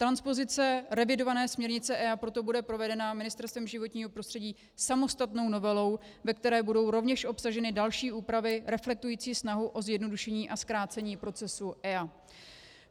Transpozice revidované směrnice EIA proto bude provedena Ministerstvem životního prostředí samostatnou novelou, ve které budou rovněž obsaženy další úpravy reflektující snahu o zjednodušení a zkrácení procesu EIA.